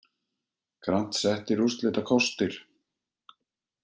Grant settir úrslitakostir